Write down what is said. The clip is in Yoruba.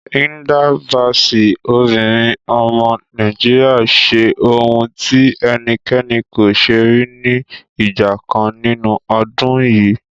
Hilda Baci, obìnrin ọmọ Nàìjíríà ṣe ohun tí ẹnikẹ́ni kò ṣe rí ní ìgbà kan nínú ọdún yìí.